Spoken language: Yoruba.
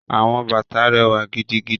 Àwọn bàtà rẹwa gidigidi.